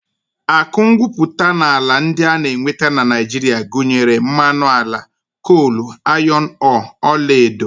Akụ ngwuputaala ndị a na-enweta na Naijiria gụnyere mmanụ ala, kol, ayọn ọọọ, ọlaedo